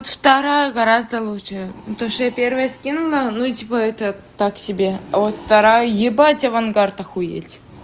вторая гораздо лучше то что я первое скинула ну и типа это так себе а вот вторая ебать авангард охуеть